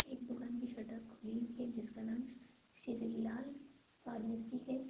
एक दुकान की शटर खुली है जिसका नाम श्री लाल फार्मेसी है।